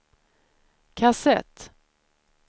kassett